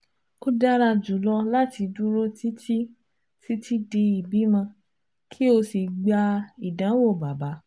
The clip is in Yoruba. O dara julọ lati duro titi titi di ibimọ ki o si gba idanwo baba